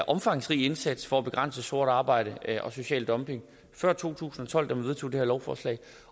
omfangsrig indsats for at begrænse sort arbejde og social dumping før to tusind og tolv da vi vedtog det her lovforslag